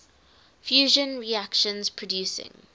fusion reactions producing